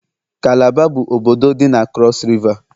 kalaba bụ obodo dị na krọs Riva.